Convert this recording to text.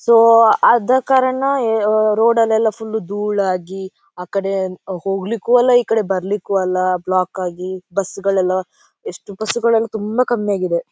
So ಆದಕಾರಣ ಎ ಓ ರೋಡ್ ಲೆಲ್ಲ ಫುಲ್ ಧೂಳು ಆಗಿ ಆಕಡೆ ಹೋಗಲಿಕ್ಕೂ ಅಲ್ಲ ಈಕಡೆ ಬರಲಿಕ್ಕೂ ಇಲ್ಲ ಬ್ಲಾಕ್ ಆಗಿ ಬಸ್ ಗಳೆಲ್ಲ ಎಷ್ಟು ಬಸ್ ಗಳೆಲ್ಲ ತುಂಬಾ ಕಮ್ಮಿ ಆಗಿದೆ.